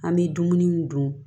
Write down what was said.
An bɛ dumuni dun